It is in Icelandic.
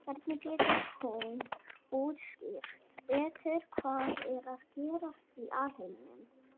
Hvernig getur hún útskýrt betur hvað er að gerast í alheiminum?